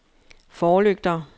forlygter